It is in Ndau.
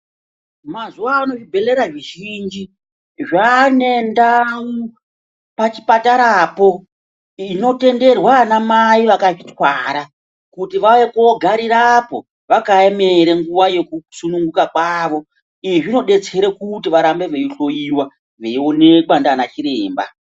Mazuwa ano zvibhedhlera zvizhinji zvaane ndau pachipatarapo inotenderwa ana mai akazvitwara kuti vauye koogarirepo vakaemera nguwa yekusununguka kwavo, izvi zvinodetsera kuti varambe veihloyiwa veionekwa ndiana chiremba.